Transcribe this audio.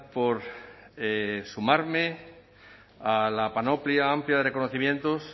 por sumarme a la panoplia amplia de reconocimientos